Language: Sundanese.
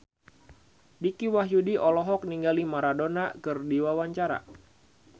Dicky Wahyudi olohok ningali Maradona keur diwawancara